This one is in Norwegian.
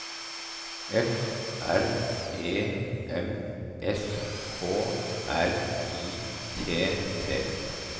F R E M S K R I T T